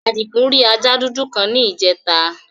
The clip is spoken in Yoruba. Àdìgún rì àja dúdú kan ní ìjẹtà.